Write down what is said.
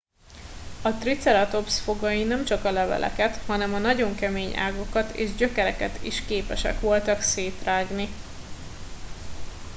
a triceratops fogai nemcsak a leveleket hanem a nagyon kemény ágakat és gyökereket is képesek voltak szétrágni